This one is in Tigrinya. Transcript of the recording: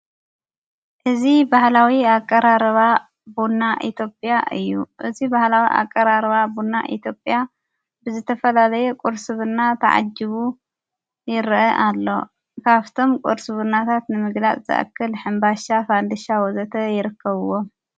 እዚ በህላዊ ኣቀራርባ ቡና ኢትዮጵያ እዩ እዝይ በባሕላዊ ኣቀራርባ ቡና ኢትዮጵያ ብዝተፈላለየ ቊርስብና ተዓጅቡ ይርአ ኣሎ ካብቶም ቊርስብናታት ንምግላጥ ዘእክል ሕምባሻ ፋንድሻ ወዘተ ይርከብዎ::